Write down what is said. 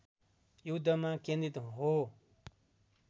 युद्धमा केन्द्रित हो